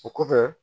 O kɔfɛ